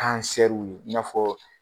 w ye i n'a fɔɔ